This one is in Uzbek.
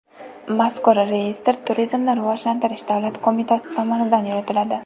Mazkur reyestr Turizmni rivojlantirish davlat qo‘mitasi tomonidan yuritiladi.